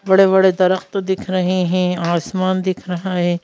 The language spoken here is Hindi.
बड़े बड़े तो दिख रहे है आसमान दिख रहा है।